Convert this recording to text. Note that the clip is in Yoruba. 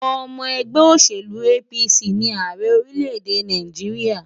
Ọmọ ẹgbẹ́ òṣèlú APC ni Ààrẹ orílẹ̀-èdè Nàìjíríà.